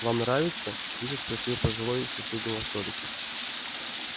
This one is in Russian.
вам нравится тихо спросил пожилой с соседнего столика